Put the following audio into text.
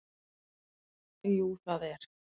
Jú það er